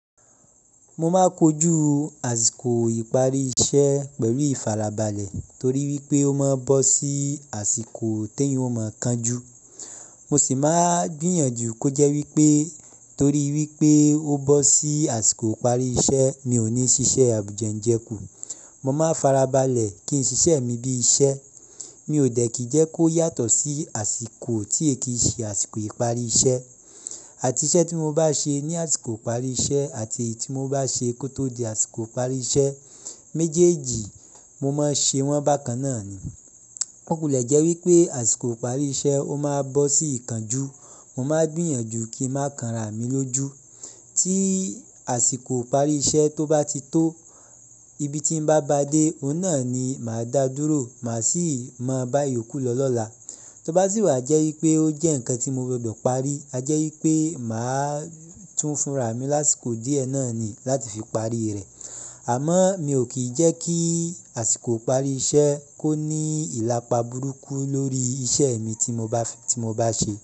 Mo máa kojú àsìkò ìparí iṣẹ́ pẹ̀lú ìfarabalẹ̀ torí wípé ó máa bọ́ sí àsìkò tè yàn o mọ́ kán ju. Mo sì máa gbìyànjú kó jẹ́ wípé torí wípé ó bọ́ sí àsìkò ìparí iṣẹ́ mi ò ní ṣiṣẹ́ àbùjẹ́ ń jẹ kú. Mo máa farabalẹ̀ kí n ṣiṣẹ́ mi bí iṣẹ́. Mi ò dẹ̀ kí jẹ́ kó yàtọ̀ sí àsìkò tí èkì ṣe àsìkò ìparí iṣẹ́. Àti iṣẹ́ tí mo bá ṣe ní àsìkò ìparí iṣẹ́ àti èyí tí mo bá ṣe kó tó di àsìkò ìparí iṣẹ́, méjèèjì mo máa ṣe wọ́n bákan náà ni. Ó kò le jẹ́ wípé àsìkò ìparí iṣẹ́ ó máa bọ́ sí ìkánjú. Mo máa gbìyànjú kí a máa kanra mi lójú. Tí àsìkò ìparí iṣẹ́ tó bá ti tó, ibi tí n bá bá dé, òun náà ni màá dá dúró, màá sì máa bá ìyókù lọ lọ́la. Tó bá sì wà jẹ́ wípé ó jẹ́ ǹkan tí mo gbọdọ̀ parí, a jẹ́ wípé màá tún funra mi lásìkò díẹ̀ náà ni láti fi parí rẹ̀. Àmọ́ mi ò kí jẹ́ kí àsìkò ìparí iṣẹ́ kó ní ìlàpa burúkú lórí iṣẹ́ mi tí mo bà, ti mo bá ṣe.